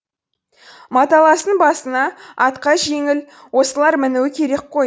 маталастың басына атқа жеңіл осылар мінуі керек қой